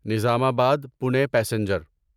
Nizamabad Pune passenger